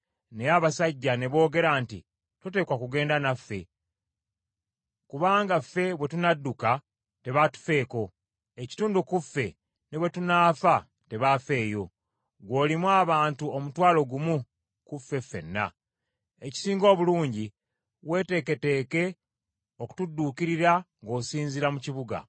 Naye abasajja ne boogera nti, “Toteekwa kugenda naffe, kubanga ffe bwe tunadduka tebaatufeeko. Ekitundu ku ffe ne bwe tunaafa tebaafeeyo. Ggwe olimu abantu omutwalo gumu ku ffe ffenna. Ekisinga obulungi weeteeketeeke okutudduukirira ng’osinziira mu kibuga.”